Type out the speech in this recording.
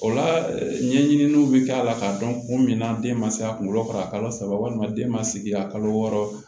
O la ɲɛɲiniw bɛ kɛ a la k'a dɔn kun min na den ma se a kunkolo fa a ka kalo saba walima den ma sigi a kalo wɔɔrɔ